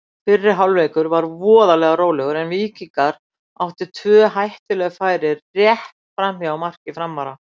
Fyrri hálfleikur var voðalega rólegur en Víkingar áttu tvö hættuleg færi rétt framhjá marki Framara.